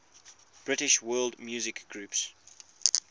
british world music groups